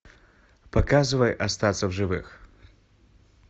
показывай остаться в живых